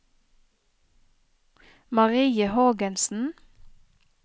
Marie Hågensen